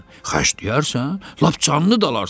Xərcləyərsən, lap canlı da alarsan.